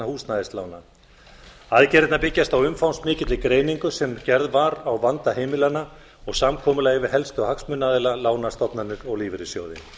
húsnæðislána aðgerðirnar byggjast á umfangsmikilli greiningu sem gerð var á vanda heimilanna og samkomulagi við helstu hagsmunaaðila lánastofnanir og lífeyrissjóði í